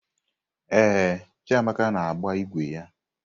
Ee, Chiamaka na-agba ígwè ya.